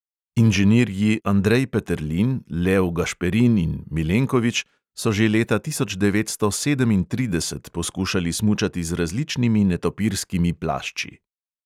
Inženirji andrej peterlin, lev gašperin in milenkovič so že leta tisoč devetsto sedemintrideset poskušali smučati z različnimi netopirskimi plašči.